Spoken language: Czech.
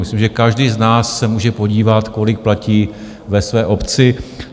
Myslím, že každý z nás se může podívat, kolik platí ve své obci.